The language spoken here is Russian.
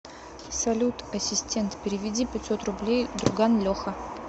салют ассистент переведи пятьсот рублей друган леха